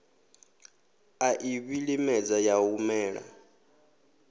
a i vhilimedza ya humela